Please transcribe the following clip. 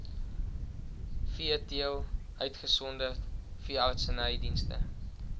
veeteelt uitgesonderd veeartsenydienste